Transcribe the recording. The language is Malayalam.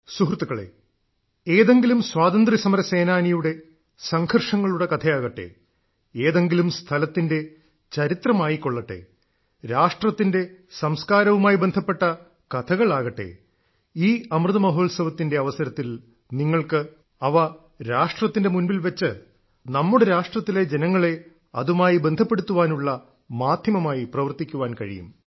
സുഹൃത്തുക്കളേ ഏതെങ്കിലും സ്വാതന്ത്ര്യസമരസേനാനിയുടെ സംഘർഷങ്ങളുടെ കഥയാകട്ടെ ഏതെങ്കിലും സ്ഥലത്തിന്റെ ചരിത്രമായിക്കൊള്ളട്ടെ രാഷ്ട്രത്തിന്റെ സംസ്കാരവുമായി ബന്ധപ്പെട്ട കഥകളാകട്ടെ ഈ അമൃതമഹോത്സവത്തിന്റെ അവസരത്തിൽ നിങ്ങൾക്ക് അവ രാഷ്ട്രത്തിന്റെ മുൻപിൽ വെച്ച് നമ്മുടെ രാഷ്ട്രത്തിലെ ജനങ്ങളെ അതുമായി ബന്ധപ്പെടുത്തുവാനുള്ള മാധ്യമമായി പ്രവർത്തിക്കാൻ കഴിയും